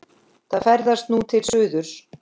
Það ferðast nú til suðurs.